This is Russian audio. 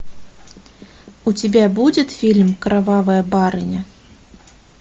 у тебя будет фильм кровавая барыня